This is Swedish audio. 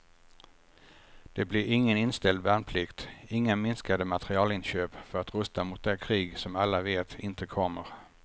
Det blir ingen inställd värnplikt, inga minskade materielinköp för att rusta mot det krig som alla vet inte kommer.